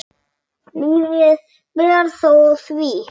Lítið ber þó á því.